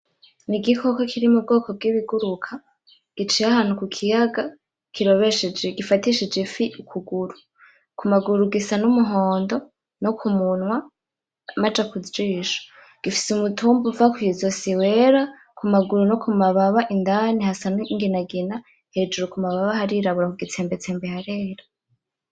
N’igikoko kiri m’ubwoko bw’ibiguruka giciye ahantu ku kiyaga kirobesheje gifatishije ifi ukuguru, kumaguru gisa n’umuhondo no ku munwa amaja ku jisho gifise umutumba uva ku izosi wera kumaguru no ku mababa indani hasa n’inginagina hejuru ku mababa harirabura kugitsembetsembe harera.